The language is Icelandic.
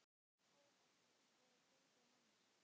Áverkar voru á höfði hans.